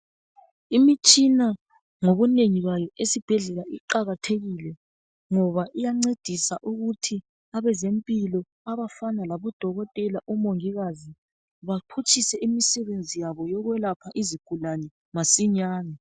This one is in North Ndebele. Imitshina ngobunengi bayo esibhedlela iqakathekile ngoba iyancedisa ukuthi abezempilo abafana labodokotela, omongikazi baphutshise imisebenzi yabo yokwelapha izigulane masinyani.